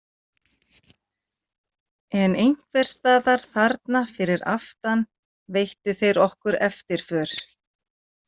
En einhvers staðar þarna fyrir aftan veittu þeir okkur eftirför.